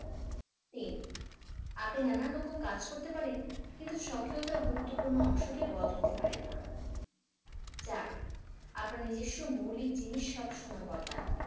তিন আপনি নানান রকম কাজ করতে পারেন কিন্তু স্বকীয়তার গুরুত্বপূর্ণ অংশকে বদলাতে পারেন না। চার আপনার নিজস্ব মৌলিক জিনিস সব সময় বদলান।